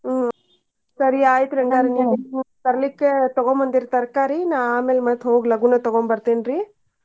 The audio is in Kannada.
ಹ್ಮ್ ಸರಿ ಆಯ್ತ್ರಿ ತರ್ಲಿಕ್ಕೆ ತಗೊಂಡ್ ಬಂದಿರ್ ತರಕಾರಿನ ಆಮೇಲೆ ಮತ್ತ್ ಹೋಗಿ ಲಘುನ ತಗೊಂಡ್ ಬರ್ತೇನ್ರಿ.